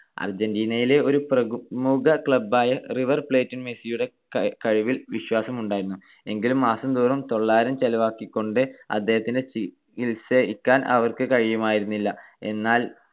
അർജന്റീനയിലെ ഒരു പ്രമുഖ club ആയ റിവർ പ്ലേറ്റിന് മെസ്സിയുടെ കഴിവിൽ വിശ്വാസമുണ്ടായിരുന്നു. എങ്കിലും മാസം തോറും തൊള്ളായിരം ചെലവാക്കിക്കൊണ്ട് അദ്ദേഹത്തെ ചികിത്സിക്കാൻ അവർക്ക് കഴിയുമായിരുന്നില്ല. എന്നാൽ